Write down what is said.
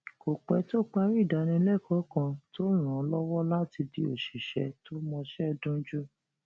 kò pé tó parí ìdánilékòó kan tó ràn án lówó láti di òṣìṣé tó mọṣé dunjú